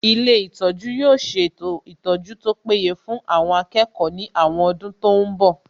Ilé ìtọ́jú yóò ṣètò ìtọ́jú tó péye fún àwọn akẹ́kọ̀ọ́ ní àwọn ọdún tó ń bọ̀